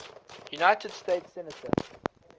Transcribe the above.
united states senator